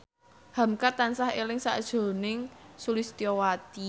hamka tansah eling sakjroning Sulistyowati